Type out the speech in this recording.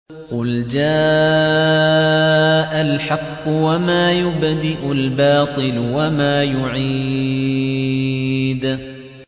قُلْ إِنَّ رَبِّي يَقْذِفُ بِالْحَقِّ عَلَّامُ الْغُيُوبِ